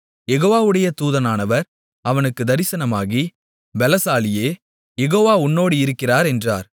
யெகோவாவுடைய தூதனானவர் அவனுக்குத் தரிசனமாகி பெலசாலியே யெகோவா உன்னோடு இருக்கிறார் என்றார்